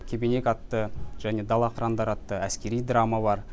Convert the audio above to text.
кебенек атты және дала қырандары атты әскери драма бар